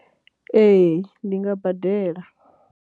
Ee, ndi nga badela.